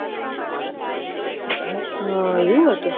હ એવું હતું